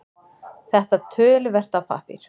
Þetta töluvert af pappír